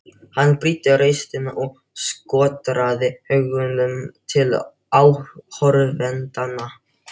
Hann brýndi raustina og skotraði augunum til áhorfendanna.